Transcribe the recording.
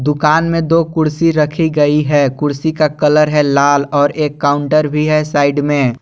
दुकान में दो कुर्सी रखी गई है कुर्सी का कलर है लाल और एक काउंटर भी है साइड में--